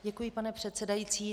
Děkuji, pane předsedající.